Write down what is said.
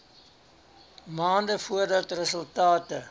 maande voordat resultate